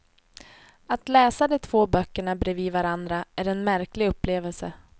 Att läsa de två böckerna bredvid varandra är en märklig upplevelse.